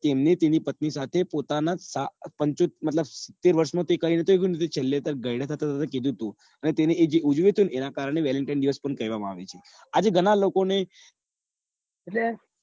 તેમને તેમની પત્ની સાથે પોતાના મતલબ સીતેર વર્ષો માં થી કઈ રીતે મેં છેલે ગાઈડા થતા થતા કીધું હતું અને તેને એ જે ઉજવ્યું હતું ને એના કારણે valentine દિવસ પણ કેવા માં આવે છે આજે ઘણાં લોકો ને એટલે